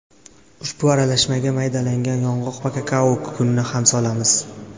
Ushbu aralashmaga maydalangan yong‘oq va kakao kukunini ham solamiz.